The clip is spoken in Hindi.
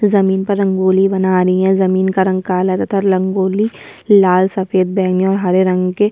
जमीन पर रंगोली बना रही है जमीन का रंग काला तथा रंगोली लाल सफ़ेद बैंगनी और हरे रंग के --